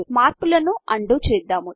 మార్పులను అన్డూ చేద్దాము